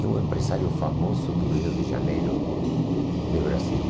É um empresário famoso do Rio de Janeiro, de Brasil.